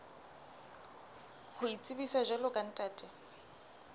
ho itsebisa jwalo ka ntate